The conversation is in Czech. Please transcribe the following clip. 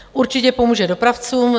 Určitě pomůže dopravcům.